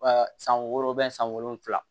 Ɛɛ san wɔɔrɔ san wolonfila